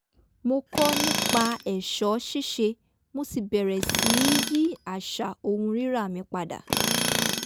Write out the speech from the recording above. mo kọ́ nipa è̩s̩ó̩ sís̩e mo sì bẹ̀rẹ̀ sí í yí às̩à ohun rírà mi padà